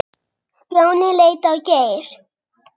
Stjáni leit á Geir.